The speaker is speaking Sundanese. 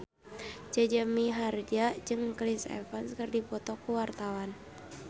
Jaja Mihardja jeung Chris Evans keur dipoto ku wartawan